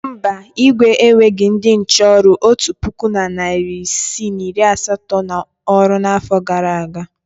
Mba, Igwe eweghi ndị nche ọrụ otu puku na narị isii na iri asatọ n’ọrụ n’afọ gara aga.